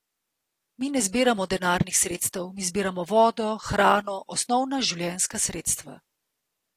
Mi ne zbiramo denarnih sredstev, mi zbiramo vodo, hrano, osnovna življenjska sredstva.